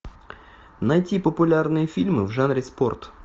найти популярные фильмы в жанре спорт